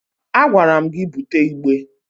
A gwara m gị bute igbe!